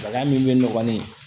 Bana min bɛ nɔgɔlen